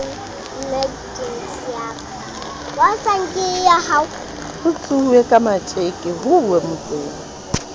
ho tsohwaka matjekemme ho uwemotseng